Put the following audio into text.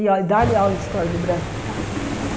E olhe dá-lhe aula de história do Brasil. Tá tá tá